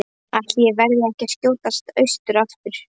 Ætli ég verði ekki að skjótast austur aftur.